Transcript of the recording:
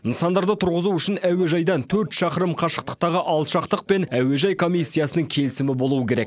нысандарды тұрғызу үшін әуежайдан төрт шақырым қашықтықтағы алшақтық пен әуежай комиссиясының келісімі болуы керек